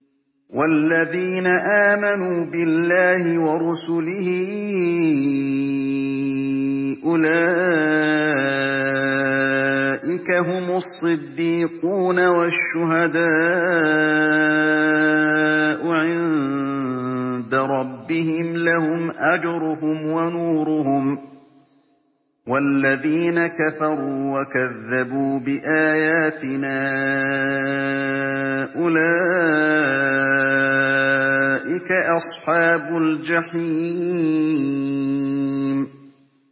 وَالَّذِينَ آمَنُوا بِاللَّهِ وَرُسُلِهِ أُولَٰئِكَ هُمُ الصِّدِّيقُونَ ۖ وَالشُّهَدَاءُ عِندَ رَبِّهِمْ لَهُمْ أَجْرُهُمْ وَنُورُهُمْ ۖ وَالَّذِينَ كَفَرُوا وَكَذَّبُوا بِآيَاتِنَا أُولَٰئِكَ أَصْحَابُ الْجَحِيمِ